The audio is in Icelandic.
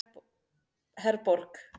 Herborg